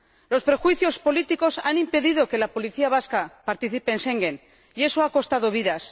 Los prejuicios políticos han impedido que la policía vasca participe en Schengen, y eso ha costado vidas.